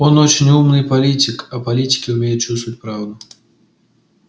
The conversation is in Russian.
он очень умный политик а политики умеют чувствовать правду